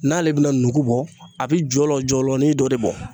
N'ale bɛna nugu bɔ a bɛ jɔlɔ jɔlɔnin dɔ de bɔ